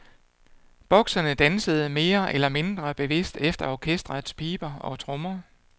Bokserne dansede mere eller mindre bevidst efter orkestrets piber og trommer.